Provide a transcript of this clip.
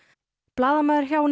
blaðamaður hjá